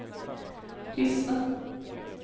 Hyssna